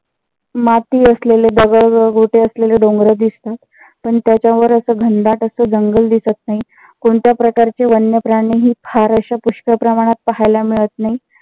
माती असलेले दगड गोटे असलेले डोंगर दिसतात. पण त्याच्यावर अस घनदाट अस जंगल दिसत नाही. कोणत्या प्रकारचे वन्य प्राणी हि फार असे पुष्कळ प्रमाणात पाहायला मिळत नाही.